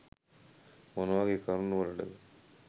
මොනවගේ කරුනු වලටද?